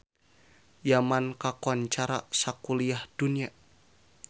Yaman kakoncara sakuliah dunya